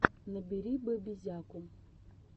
набери бэбизяку